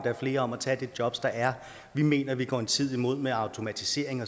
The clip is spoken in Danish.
er flere om at tage de jobs der er vi mener vi går en tid i møde med automatisering